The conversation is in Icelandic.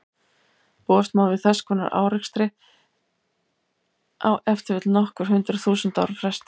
Búast má við þess konar árekstri á ef til vill nokkur hundruð þúsund ára fresti.